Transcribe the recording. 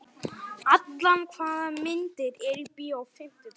Allan, hvaða myndir eru í bíó á fimmtudaginn?